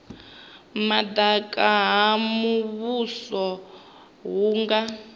madaka ha muvhuso hu nga